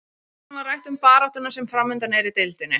Í seinni hlutanum var rætt um baráttuna sem framundan er í deildinni.